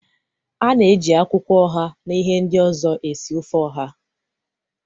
A na-eji akwụkwọ oha na ihe ndị ọzọ esi ofe oha.